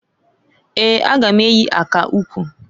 Eeǃ A ga m eyi aka ukwu.